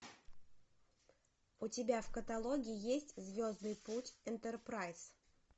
у тебя в каталоге есть звездный путь энтерпрайз